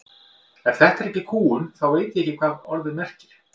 Ef þetta er ekki kúgun þá veit ég ekki hvað það orð merkir.